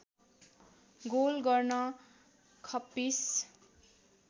goal गर्न खप्पिस